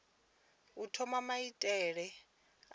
u thoma maitele a mbilaelo